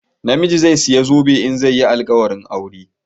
Namiji zai saya zobe in zai yi alƙawarin aure